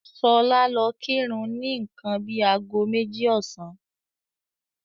Ṣọlá lọ kírun ni nǹkan bíi ago méjì ọ̀sán.